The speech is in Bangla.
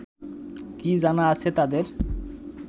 কী জানা আছে তাদের